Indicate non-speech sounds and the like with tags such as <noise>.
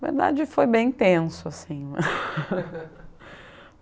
A verdade foi bem tenso, assim. <laughs>